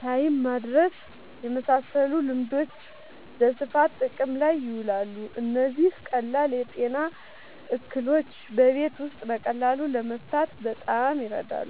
(ታይም ማድረስ) የመሳሰሉ ልማዶች በስፋት ጥቅም ላይ ይውላሉ። እነዚህ ቀላል የጤና እክሎችን በቤት ውስጥ በቀላሉ ለመፍታት በጣም ይረዳሉ።